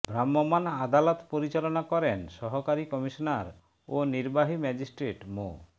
ভ্রাম্যমান আদালত পরিচালনা করেন সহকারী কমিশনার ও নির্বাহী ম্যাজিস্ট্রেট মো